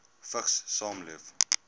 vigs saamleef